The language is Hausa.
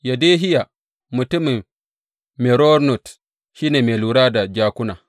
Yedehiya mutumin Meronot shi ne mai lura da jakuna.